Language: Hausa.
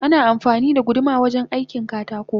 Ana amfani da guduma wajen aikin katako